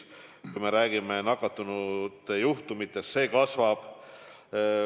Kui me räägime nakatunute arvust, siis see kasvab.